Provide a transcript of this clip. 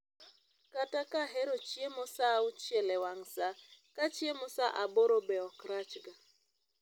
Kata kahero chiemo saa auchiel e wang' saa, kachiemo sa aboro be ok rach ga